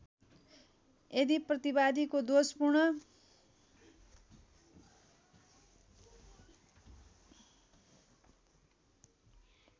यदि प्रतिवादीको दोषपूर्ण